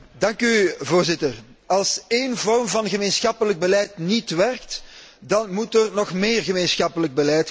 Voorzitter, als één vorm van gemeenschappelijk beleid niet werkt, dan moet er nog meer gemeenschappelijk beleid komen!